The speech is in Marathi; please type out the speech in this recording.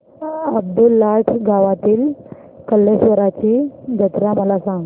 अब्दुललाट गावातील कलेश्वराची जत्रा मला सांग